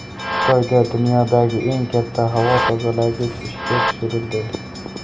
Xitoyda dunyodagi eng katta havo tozalagich ishga tushirildi .